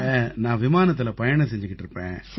நான் விமானத்தில பயணம் செஞ்சிட்டு இருப்பேன்